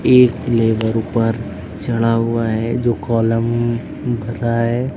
एक लेबर ऊपर चढ़ा हुआ है जो कॉलम भर रहा है।